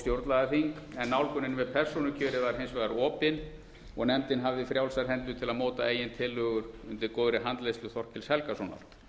stjórnlagaþing en nálgunin við persónukjörið var hins vegar opin og nefndin hafði frjálsar hendur til að móta eigin tillögur undir góðri handleiðslu þorkels helgasonar